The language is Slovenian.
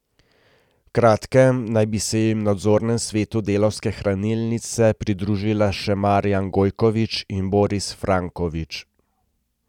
V kratkem naj bi se jim v nadzornem svetu Delavske hranilnice pridružila še Marjan Gojkovič in Boris Franjkovič.